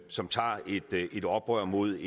som tager et oprør mod